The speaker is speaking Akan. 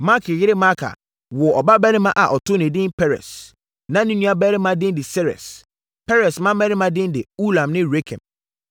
Makir yere Maaka woo ɔbabarima a ɔtoo no edin Peres. Na ne nuabarima din de Seres. Peres mmammarima din de Ulam ne Rekem.